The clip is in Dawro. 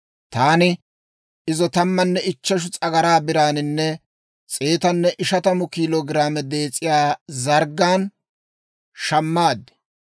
Taani izo tammanne ichcheshu s'agaraa biraaninne s'eetanne ishatamu kiilo giraame dees'iyaa zarggan shammaad.